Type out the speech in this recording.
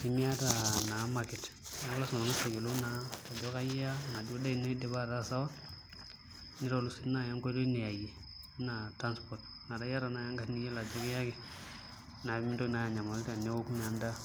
pee miata naa market neeku lasima pee ing'as ayiolou naa ajo kaai iya enaduo daa ino idipa ataa sawa nitolu sii naai enkoitoi niyaiyie enaa transport metaa iata naai engarri niyiolo ajo kiyaki naa mintoki anyamalu teneoku naa endaa.